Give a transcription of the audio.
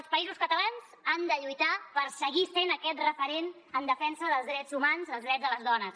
els països catalans han de lluitar per seguir sent aquest referent en defensa dels drets humans dels drets de les dones